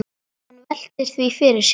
Hann veltir því fyrir sér.